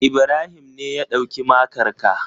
Ibrahim ne ya ɗauki makar ka.